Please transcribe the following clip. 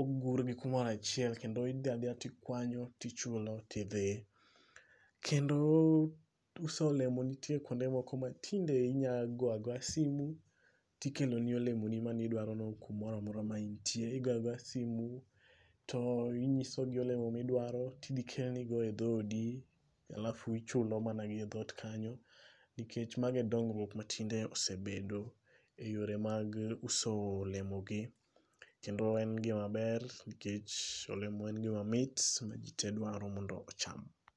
ogurgi kumoro achiel, kendo idhi adhiya tikwanyo tichulo tidhi. Kendo uso olemo nitie kwonde moko ma tinde inya go agoya simu, tikeloni olemoni manidwarono kumora mora ma intie. Igoyo agoya simu to inyisogi olemo midwaro ,tidhi kelni go e dhodi, halafu ichulo mana gi e dhot kanyo, nikech mago e dongruok matinde osebedo e yore mag uso olemogi kendo en gimaber nikch olemo en gimamit ma ji te dwaro mondo ocham.